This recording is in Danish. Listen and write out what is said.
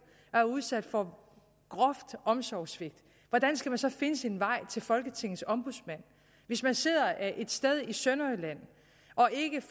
og er udsat for groft omsorgssvigt hvordan skal man så finde sin vej til folketingets ombudsmand hvis man sidder et sted i sønderjylland